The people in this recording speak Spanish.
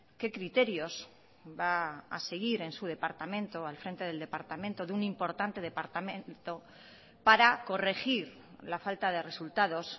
qué criterios va a seguir en su departamento al frente del departamento de un importante departamento para corregir la falta de resultados